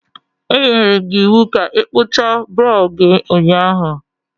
Anyere m gị iwu ka ị kpụchaa brow gị ụnyaahụ.